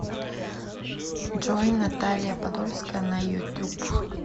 джой наталья подольская на ютуб